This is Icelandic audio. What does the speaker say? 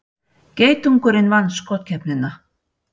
Geitungurinn vann skotkeppnina